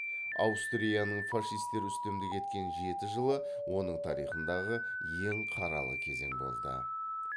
аустрияның фашистер үстемдік еткен жеті жылы оның тарихындағы ең қаралы кезең болды